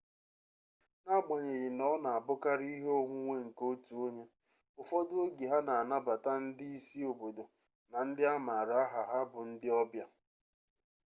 n'agbanyeghị na ọ na-abụkarị ihe onwunwe nke otu onye ụfọdụ oge ha na-anabata ndị isi obodo na ndị a maara aha ha bụ ndị ọbịa